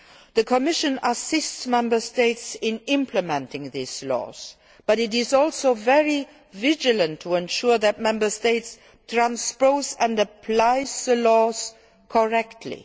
The Commission assists Member States in implementing these laws, but it is also very vigilant in ensuring that Member States transpose and apply the laws correctly.